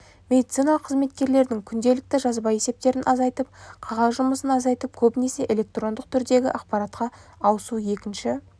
медициналық қызметкерлердің күнделікті жазба есептерін азайтып қағаз жұмысын азайтып көбінесе электрондық түрдегі ақпаратқа ауысу екінші